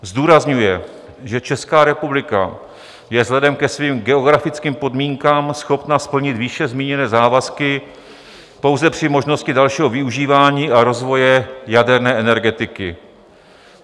Zdůrazňuje, že Česká republika je vzhledem ke svým geografickým podmínkám schopna splnit výše zmíněné závazky pouze při možnosti dalšího využívání a rozvoje jaderné energetiky.